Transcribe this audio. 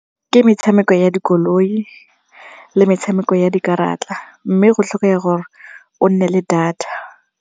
Ke metshameko ya dikoloi le metshameko ya dikarata mme go tlhokega gore o nne le data.